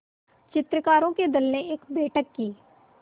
चित्रकारों के दल ने एक बैठक की